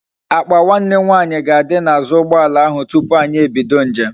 Akpa nwanne nwanyi ga adi na azu ugboala ahu tupu anyi ebido njem